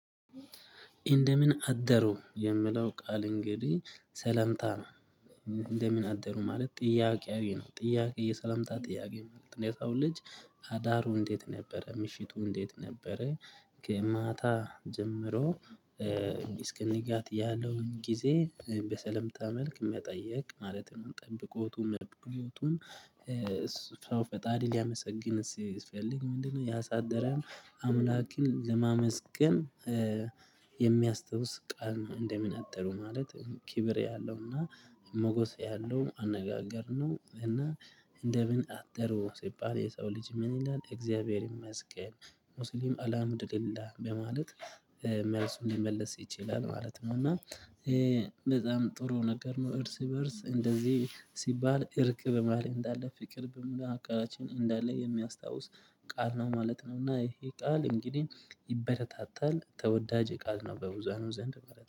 እንደምን አደሩ የምለው ቃል እንግዲህ ሰላምታ ነው። እንደምን አደሩ ማለት ጥያቄያዊ ነው ጥያቄ የሰላምታ ጥያቄ ማለት ነው የሰው ልጅ አዳሩ እንዴት ነበረ ምሽቱ እንዴት ነበረ? ከማታ ጀምሮ እስከ ንጋት ያለውን ጊዜ በሰላምታ መልክ መጠየቅ ማለት ነው። ጠብቆቱም መልካም ህይወቱን ሰው ፈጣሪ ሊያመሰግን ሲፈልግ ምንድ ነው ያሳደረን? አምላክን ለማመስገን እ የሚያስታውስ ቃል እንደምን አደሩ ማለት ክብር ያለውና ሞገስ ያለው አነጋገር ነው። እና እንደምን አደሩ ሲባል የሰው ልጅ ምን ይላል? እግዚአብሔር ይመስገን ሙስሊም አላምድሊላ በማለት መልሱን ሊመልስ ይችላል ማለት ነው። እና በጣም ጥሩ ነገር ነው። እርስ በእርስ እንደዚህ ሲባል እርቅ በማህል እንዳለ ፍቅር በመሃከላችን እንዳለ የሚያስታውስ ቃል ነው ማለት ነው። እና ይሄ ቃል እንግዲህ ይበረታታል ተወዳጅ ቃል ነው በብሁሃኑ ዘንድ